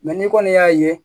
n'i kɔni y'a ye